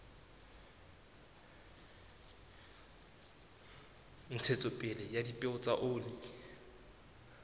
ntshetsopele ya dipeo tsa oli